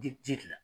Di ji de la